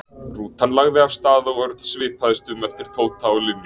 Rútan lagði af stað og Örn svipaðist um eftir Tóta og Linju.